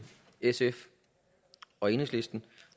sf og enhedslisten